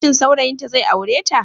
Shin saurayinta zai aure ta?